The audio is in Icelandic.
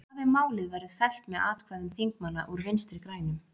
En hvað ef málið verður fellt með atkvæðum þingmanna úr Vinstri-grænum?